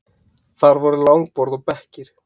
Þar voru langborð og bekkir.